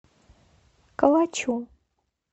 калачу